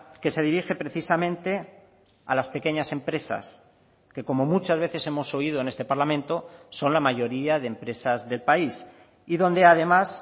que se dirige precisamente a las pequeñas empresas que como muchas veces hemos oído en este parlamento son la mayoría de empresas del país y donde además